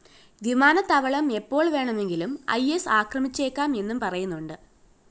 വിമാനത്താവളം എപ്പോള്‍ വേണമെങ്കിലും ഇ സ്‌ ആക്രമിച്ചേക്കാം എന്നും പറയുന്നുണ്ട്